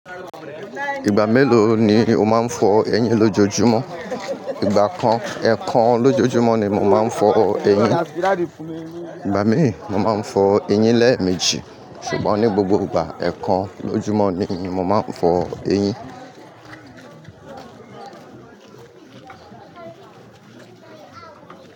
Ìgbà mélòó ni o máa ń fọ eyín lójojúmọ́? Ìgbà kan, ẹ̀ẹ̀kan lójojúmọ́ ni mo máa ń fọ eyín. Ìgbà mí ì, mo máa ń fọ eyín lẹ́ẹ̀mejì. Ṣùgbọ́n ní gbogbo ìgbà, ẹ̀ẹ̀kan lójojúmọ́ ni mo máa ń fọ eyín.